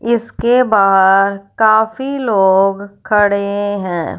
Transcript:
इसके बाहर काफी लोग खड़े हैं।